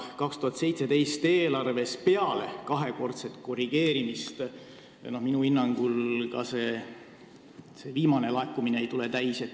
2017. aasta eelarves eeldatud laekumine minu hinnangul peale kahekordset korrigeerimist täis ei tule.